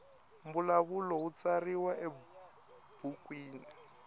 mbulavulo wu tsariwa ebukwini